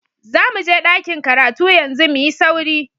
Zamuje ɗakin karatu yanzu, muyi sauri.